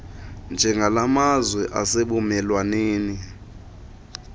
njengala mazwe asebumelwaneni